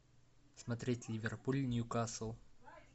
смотреть ливерпуль ньюкасл